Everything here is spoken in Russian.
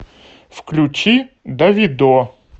включи давидо